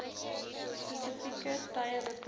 spesifieke tye beperk